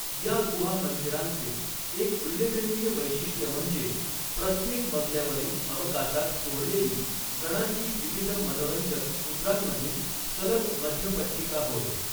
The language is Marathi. या गुहा मंदिरांचे एक उल्लेखनीय वैशिष्ट्य म्हणजे, प्रत्येक मजल्यावरील अवकाशात कोरलेली, गणाची विविध मनोरंजक मुद्रांमधील सलग मध्यपट्टिका होय.